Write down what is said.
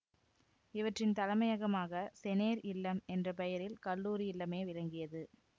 இவற்றின் தலைமையகமாக செனேற் இல்லம் என்ற பெயரில் கல்லூரி இல்லமே விளங்கியது